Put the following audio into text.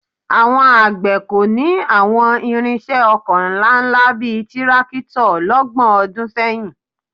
Àwọn àgbẹ̀ kò ní àwọn ìrinṣẹ́ oko ńláńlá bíi tírákítọ̀ lọ́gbọ̀n ọdún sẹ́yìn